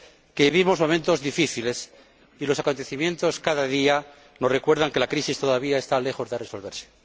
que vivimos momentos difíciles y los acontecimientos cada día nos recuerdan que la crisis todavía está lejos de resolverse.